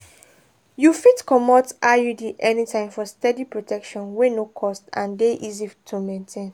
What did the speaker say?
you fit comot iud anytime for steady protection wey no cost and dey easy to maintain.